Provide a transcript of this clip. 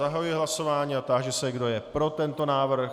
Zahajuji hlasování a táži se, kdo je pro tento návrh.